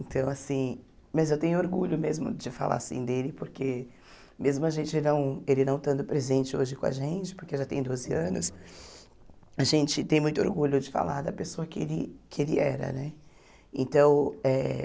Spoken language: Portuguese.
Então assim, mas eu tenho orgulho mesmo de falar assim dele, porque mesmo a gente não ele não estando presente hoje com a gente, porque já tem doze anos, a gente tem muito orgulho de falar da pessoa que ele que ele era, né? Então eh